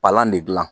Palan ne gilan